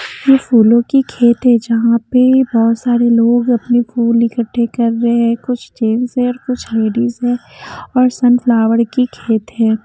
यह फूलों की खेत है जहाँ पे बहुत सारे लोग अपने फूल इकट्ठे कर रहे हैं कुछ जेंट्स है और कुछ लेडीज हैं और सनफ्लावर की खेत है।